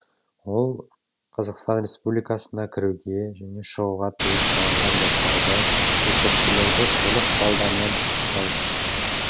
ол қазақстан республикасына кіруге және шығуға тыйым салынған заттарды есірткілерді көлік құралдарынан анықтау үшін